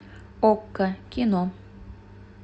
окко кино